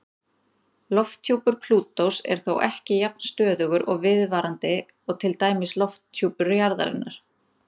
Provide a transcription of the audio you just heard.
Lofthjúpur Plútós er þó ekki jafn stöðugur og viðvarandi og til dæmis lofthjúpur jarðarinnar.